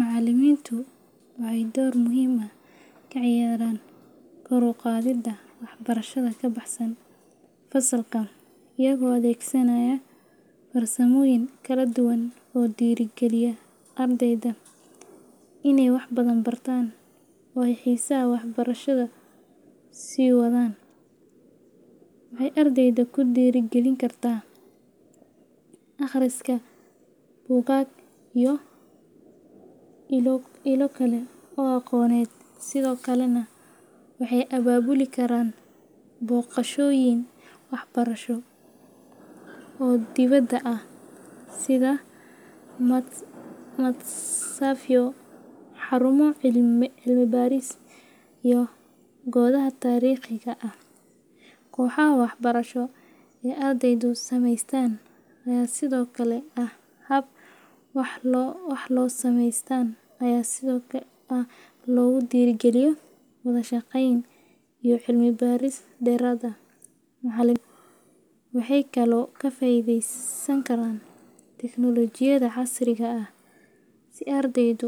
Macallimiinta waxay door muhiim ah ka ciyaaraan kor u qaadida waxbarashada ka baxsan fasalka iyagoo adeegsanaya farsamooyin kala duwan oo dhiirrigeliya ardayda inay waxbadan bartaan oo ay xiisaha waxbarashada sii wadaan. Waxay ardayda ku dhiirrigelin karaan akhriska buugaag iyo ilo kale oo aqooneed, sidoo kalena waxay abaabuli karaan booqashooyin waxbarasho oo dibadda ah sida matxafyo, xarumo cilmi baaris, iyo goobaha taariikhiga ah. Kooxaha waxbarasho ee ardaydu sameystaan ayaa sidoo kale ah hab wax ku ool ah oo lagu dhiirrigeliyo wada shaqeyn iyo cilmi baaris dheeraad ah. Macallimiintu waxay kaloo ka faa’iideysan karaan teknoolojiyadda casriga ah si ardaydu